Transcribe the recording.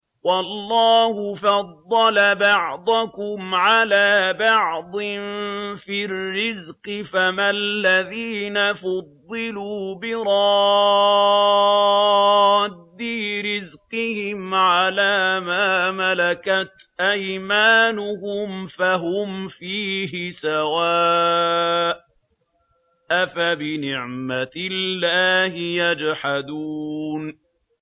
وَاللَّهُ فَضَّلَ بَعْضَكُمْ عَلَىٰ بَعْضٍ فِي الرِّزْقِ ۚ فَمَا الَّذِينَ فُضِّلُوا بِرَادِّي رِزْقِهِمْ عَلَىٰ مَا مَلَكَتْ أَيْمَانُهُمْ فَهُمْ فِيهِ سَوَاءٌ ۚ أَفَبِنِعْمَةِ اللَّهِ يَجْحَدُونَ